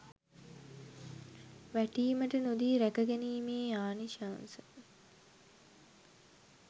වැටීමට නොදී රැකගැනීමේ ආනිසංශ